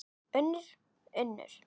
UNNUR: Unnur.